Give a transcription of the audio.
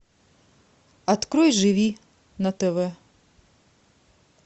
открой живи на тв